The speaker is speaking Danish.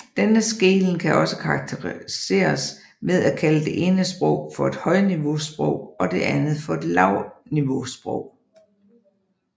Denne skelnen kan også karakteriseres ved at kalde det ene sprog for et højniveausprog og det andet for et lavniveausprog